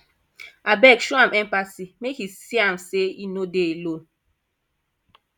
abeg show am empathy make e see am sey e no dey alone